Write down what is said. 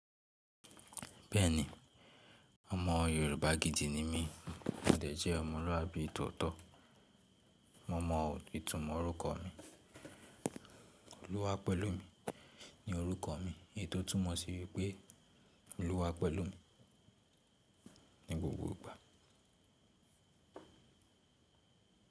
Bẹ́ẹ̀ni, ọmọ Yorùbá gidi ni mí, mòde jẹ́ ọmọlúàbí tótọ́. Mo mọ ìtumọ̀ orúkọ mi. Olúwa pẹ̀lú mi ni orúkọ mi, èyí tó túmọ̀ sí pé Olúwa pẹ̀lú mi ní gbogbo ìgbà.